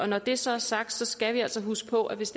når det så er sagt skal vi altså huske på at hvis